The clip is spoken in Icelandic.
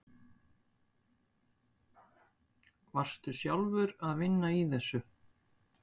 Varstu sjálfur að vinna í þessu?